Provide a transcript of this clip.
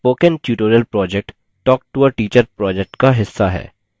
spoken tutorial project talktoateacher project का हिस्सा है